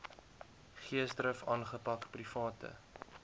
geesdrif aangepak private